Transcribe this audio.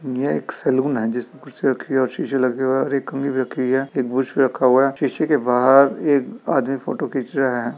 यह एक सैलून है जिसमें कुर्सी रखी है और शीशे लगे हुए है और एक कंघी भी रखी हुई है एक ब्रुश रखा हुआ है। शीशे के बाहर एक आदमी फोटो खींच रहा है।